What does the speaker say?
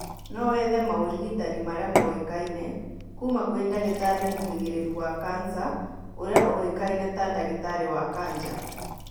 No wethe maũrigitani marĩa moĩkaine kuma kwĩ ndagĩtarĩ mũhĩgĩrĩru wa kansa ũrĩa ũĩkaine ta ndagĩtarĩ wa kanja